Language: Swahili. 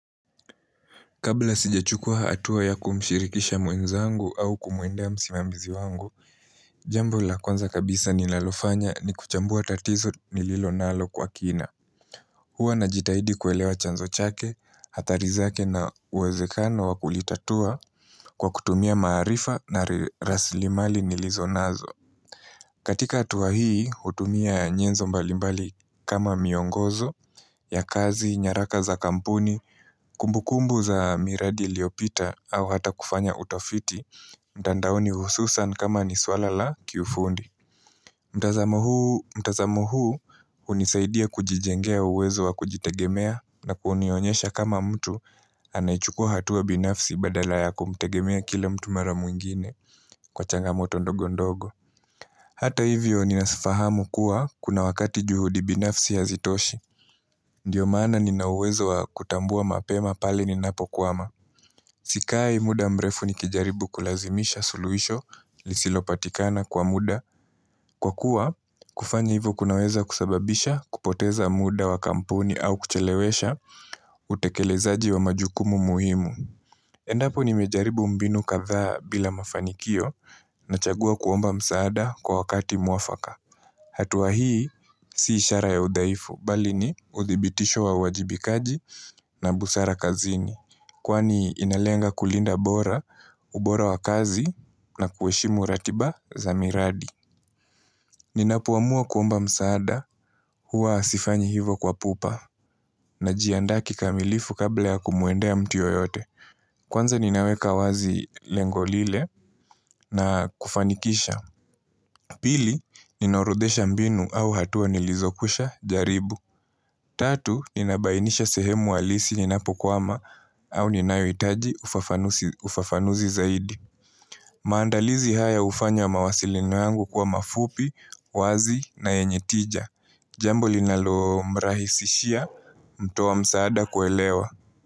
Kabla sijachukua hatua ya kumshirikisha mwenzangu au kumwendea msimamizi wangu, jambo la kwanza kabisa ninalofanya ni kuchambua tatizo nililonalo kwa kina. Hua najitahidi kuelewa chanzo chake, athari zake na uwezekano wakulitatua kwa kutumia maarifa na rasilimali nilizonazo. Katika hatua hii, hutumia nyenzo mbalimbali kama miongozo, ya kazi, nyaraka za kampuni, kumbukumbu za miradi iliopita, au hata kufanya utafiti, mtandaoni hususan kama ni swala la kiufundi. Mtazamo huu, mtazamo huu, hunisaidia kujijengea uwezo wa kujitegemea na kunionyesha kama mtu anaichukua hatua binafsi badala ya kumtegemea kile mtu mara mwingine kwa changamoto ndogo ndogo. Hata hivyo ninazifahamu kuwa kuna wakati juhudi binafsi hazitoshi. Ndiyo maana ninawezo wa kutambua mapema pale ninapokuwama. Sikai muda mrefu nikijaribu kulazimisha suluhisho lisilopatikana kwa muda. Kwa kuwa kufanya hivyo kunaweza kusababisha kupoteza muda wa kampuni au kuchelewesha utekelezaji wa majukumu muhimu. Endapo nimejaribu mbinu kadhaa bila mafanikio nachagua kuomba msaada kwa wakati mwafaka. Hatua hii si ishara ya udhaifu, bali ni udhibitisho wa wajibikaji na busara kazini. Kwani inalenga kulinda bora, ubora wa kazi na kuheshimu ratiba za miradi. Ninapoamua kuomba msaada huwa sifanyi hivo kwa pupa najianda kikamilifu kabla ya kumwendea mtu yoyote. Kwanza ninaweka wazi lengo lile na kufanikisha. Pili, ninaorodhesha mbinu au hatua nilizokwisha jaribu. Tatu, ninabainisha sehemu halisi ninapokwama au ninayohitaji ufafanuzi zaidi. Maandalizi haya ufanya mawasiliano yangu kuwa mafupi, wazi na yenye tija. Jambo linalo mrahisishia, mtu wa msaada kuelewa.